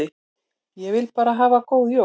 Ég vil bara hafa góð jól.